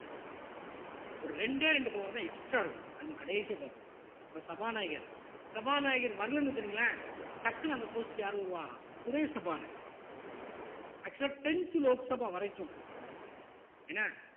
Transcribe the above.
ஒரு இரண்டே ரெண்டு power தான் extra இருக்கும் நம்ம கடைசியா பார்ப்போம் ஒரு சபாநாயகர் சபாநாயகர் வரலைன்னு வச்சுக்கோங்களேன் டக்குனு அந்த post க்கு யாரு வருவா துணை சபாநாயகர் actual ஆ tenth லோக்சபா வரைக்கும் என்ன